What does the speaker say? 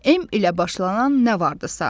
M ilə başlanan nə vardısa.